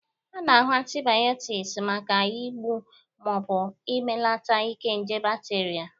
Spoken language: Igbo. A na-aṅụ antịbịotiks maka igbụ ma ọ bụ imelata ike nje bakterịa